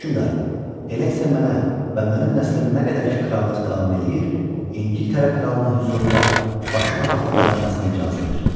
Hökmdar, elə isə mənə və mənim nəslimin nə qədər ki krallıq davam eləyir, İngiltərə kralının hüzurunda başı papaqla dayanmasına icazə ver.